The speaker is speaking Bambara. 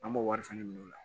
An b'o wari fɛnɛ minɛ o la